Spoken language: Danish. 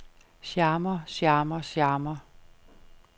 charmer charmer charmer